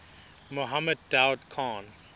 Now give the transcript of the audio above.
mohammed daoud khan